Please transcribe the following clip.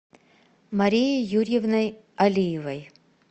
марией юрьевной алиевой